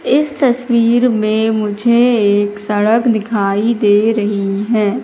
इस तस्वीर में मुझे एक सड़क दिखाई दे रही है।